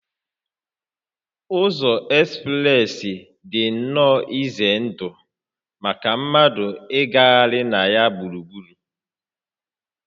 Ụzọ ekspreesị dị nnọọ ize ndụ maka mmadụ ịgagharị na ya gburugburu